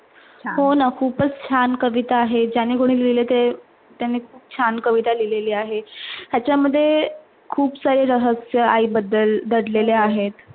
हो ना खुपच छान कविता आहे. ज्याने कोणे लिहिली त्याने खुप छान कविता लिहिलेली आहे. याच मध्ये खुप सारे रहस्य आईबद्दल दडलेले आहे.